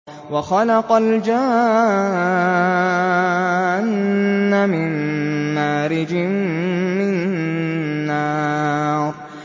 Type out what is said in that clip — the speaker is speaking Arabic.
وَخَلَقَ الْجَانَّ مِن مَّارِجٍ مِّن نَّارٍ